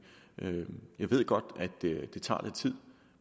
jeg ved godt at det tager lidt tid